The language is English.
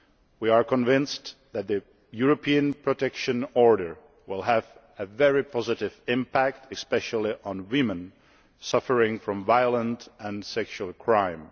We are convinced that the European Protection Order will have a very positive impact, especially on women suffering from violent and sexual crime.